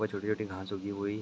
वो छोटी-छोटी घास उगी हुई--